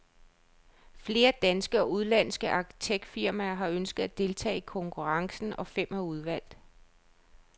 Flere danske og udenlandske arkitektfirmaer har ønsket at deltage i konkurrencen, og fem er udvalgt.